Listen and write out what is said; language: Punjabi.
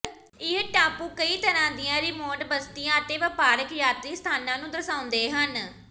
ਇਹ ਟਾਪੂ ਕਈ ਤਰ੍ਹਾਂ ਦੀਆਂ ਰਿਮੋਟ ਬਸਤੀਆਂ ਅਤੇ ਵਪਾਰਕ ਯਾਤਰੀ ਸਥਾਨਾਂ ਨੂੰ ਦਰਸਾਉਂਦੇ ਹਨ